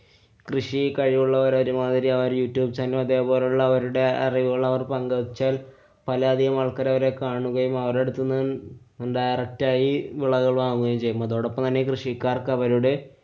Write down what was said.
കൃഷി കഴിവുള്ളവരൊരുമാതിരി അവരായിട്ട്‌ അതെ പോലുള്ള അവരുടെ അറിവുകള്‍ അവര്‍ പങ്കുവെച്ചാല്‍ പല അധികം ആള്‍ക്കാരവരെ കാണുകയും അവരുടെ അടുത്തുന്ന് direct ആയി വിളകള്‍ വാങ്ങുകയും ചെയ്യുന്നു. അതോടൊപ്പം തന്നെ കൃഷിക്കാര്‍ക്ക് അവരുടെ